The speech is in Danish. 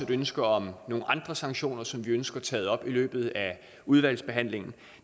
ønske om nogle andre sanktioner som vi ønsker taget op i løbet af udvalgsbehandlingen